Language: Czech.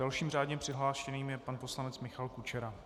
Dalším řádně přihlášeným je pan poslanec Michal Kučera.